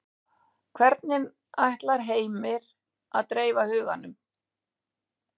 Hvernig ætlar Heimir að dreifa huganum?